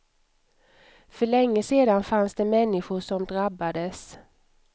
För länge sedan fanns det människor som drabbades.